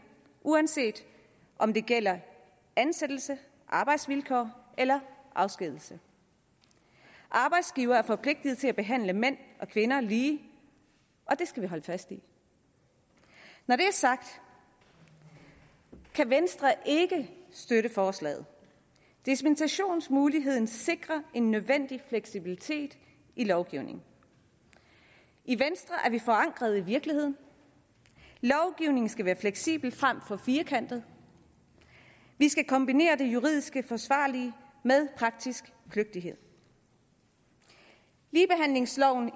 uanset om det gælder ansættelse arbejdsvilkår eller afskedigelse arbejdsgiverne er forpligtede til at behandle mænd og kvinder lige og det skal vi holde fast i når det er sagt kan venstre ikke støtte forslaget dispensationsmuligheden sikrer en nødvendig fleksibilitet i lovgivningen i venstre er vi forankret i virkeligheden lovgivningen skal være fleksibel frem for firkantet vi skal kombinere det juridisk forsvarlige med praktisk kløgtighed ligebehandlingsloven